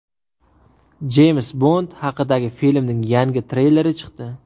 Jeyms Bond haqidagi filmning yangi treyleri chiqdi.